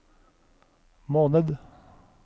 måned